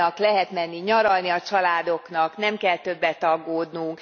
Lehet menni nyaralni a családoknak, nem kell többet aggódnunk.